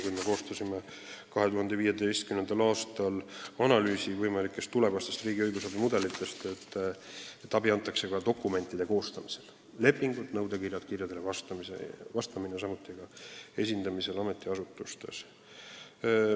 Kui me koostasime 2015. aastal analüüsi võimalikest tulevastest riigi õigusabi mudelitest, siis otsustasimegi, et abi antakse ka dokumentide koostamisel: lepingud, nõudekirjad, kirjadele vastamine, samuti asjaajamine ametiasutustes.